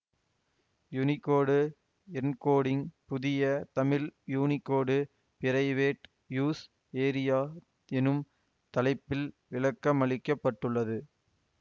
Unicode encoding புதிய தமிழ் Unicode private use area எனும் தலைப்பில் விளக்கமளிக்கப்பட்டுள்ளது